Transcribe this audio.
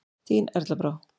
Þín Erla Brá.